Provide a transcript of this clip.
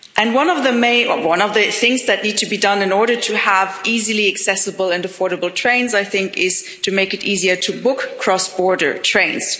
One of the things that needs to be done in order to have easily accessible and affordable trains, I think, is to make it easier to book cross-border trains.